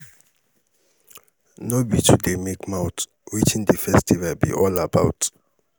no be to dey make mouth wetin the festival be all about?